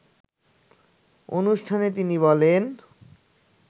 অনুষ্ঠানে তিনি বলেন